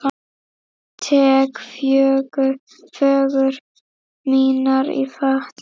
Tek föggur mínar í fatla.